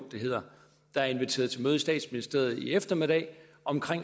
det hedder der er inviteret til møde i statsministeriet i eftermiddag om